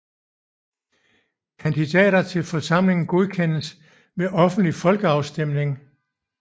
Kandidater til forsamlingen godkendes ved offentlig folkeafstemning